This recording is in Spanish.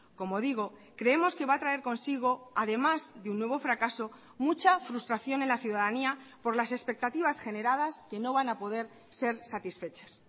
como digo creemos que va a traer consigo además de un nuevo fracaso mucha frustración en la ciudadanía por las expectativas generadas que no van a poder ser satisfechas